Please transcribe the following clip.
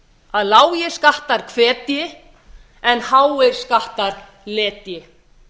að lágir skattar hvetji en háir skattar letji